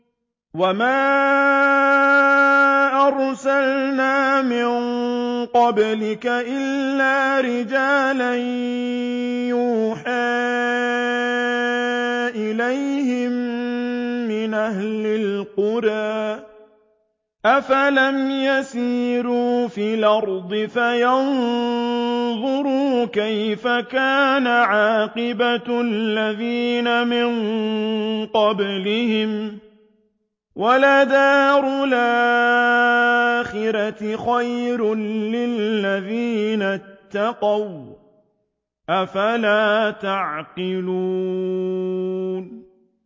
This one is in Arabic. وَمَا أَرْسَلْنَا مِن قَبْلِكَ إِلَّا رِجَالًا نُّوحِي إِلَيْهِم مِّنْ أَهْلِ الْقُرَىٰ ۗ أَفَلَمْ يَسِيرُوا فِي الْأَرْضِ فَيَنظُرُوا كَيْفَ كَانَ عَاقِبَةُ الَّذِينَ مِن قَبْلِهِمْ ۗ وَلَدَارُ الْآخِرَةِ خَيْرٌ لِّلَّذِينَ اتَّقَوْا ۗ أَفَلَا تَعْقِلُونَ